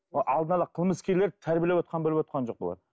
алдын ала қылмыскерлерді тәрбиелеп отырғанын біліп отырған жоқ бұлар